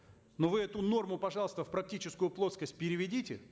но вы эту норму пожалуйста в практическую плоскость переведите